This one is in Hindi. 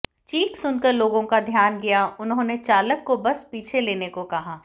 चीख सुनकर लोगों का ध्यान गया उन्होंने चालक को बस पीछे लेने को कहा